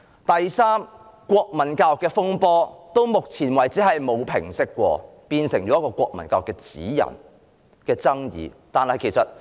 第三，國民教育的風波到目前為止沒有平息過，國民教育的指引繼續引發爭議。